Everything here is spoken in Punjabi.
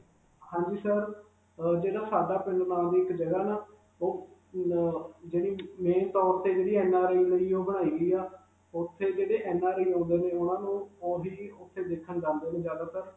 ਹਾਂਜੀ sir, ਅਅ ਜਿਹੜਾ ਸਾਡਾ ਪਿੰਡ ਨਾਮ ਦੀ ਇਕ ਜਗ੍ਹਾ ਨ ? ਉਹ ਅਅ ਜਿਹੜੀ main ਤੇ NRI ਬਣਾਈ ਹੋਈ ਹੈ. ਉਥੇ ਜਿਹੜੇ NRI ਆਉਂਦੇ ਨੇ ਉਨ੍ਹਾਂ ਨੂੰ ਦੇਖਣ ਜਾਂਦੇ ਨੇ ਜਿਆਦਾ ਤਰ.